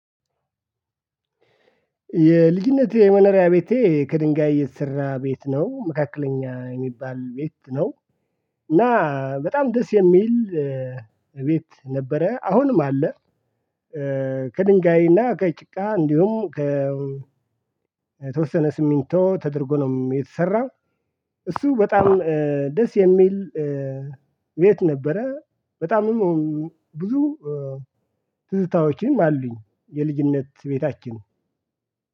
የልጅነቴ የመኖሪያ ቤቴ ከድንጋይ የተሰራ ቤት ነው መካከለኛ የሚባል ቤት ነው። እና በጣም ደስ የሚል ቤት ነበረ አሁንም አለ። ከድንጋይና ከጭቃ እንዲሁም ከ ተወሰነ ስሚንቶ ተደርጎ ነው የተሰራው። እሱ በጣም ደስ የሚል ቤት ነበረ። በጣምም ብዙ ትዝታዎችንም አሉኝ። የልጅነት ቤታችን